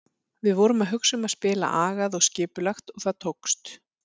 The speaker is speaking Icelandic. Við vorum að hugsa um að spila agað og skipulagt og það tókst.